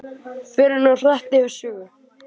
Förum nú hratt yfir sögu.